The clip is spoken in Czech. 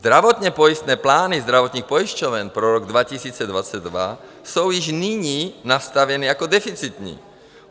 Zdravotně pojistné plány zdravotních pojišťoven pro rok 2022 jsou již nyní nastaveny jako deficitní.